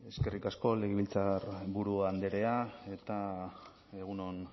eskerrik asko legebiltzarburu andrea eta egun on